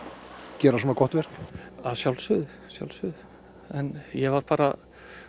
gera svona gott verk að sjálfsögðu sjálfsögðu en ég var bara